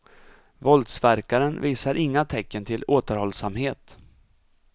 Våldsverkaren visar inga tecken till återhållsamhet.